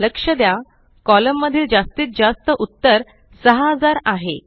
लक्ष द्या कॉलम मधील जास्तीत जास्त उत्तर 6000 आहे